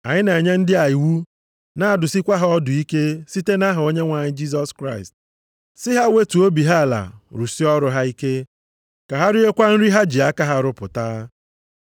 Anyị na-enye ndị a iwu, na-adụsịkwa ha ọdụ ike site nʼaha Onyenwe anyị Jisọs Kraịst, si ha wetuo obi ha ala rụsie ọrụ ha ike. Ka ha riekwa nri ha ji aka ha rụpụta.